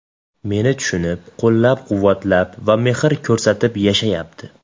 Meni tushunib, qo‘llab-quvvatlab va mehr ko‘rsatib yashayapti!